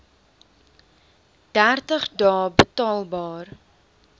dertig dae betaalbaar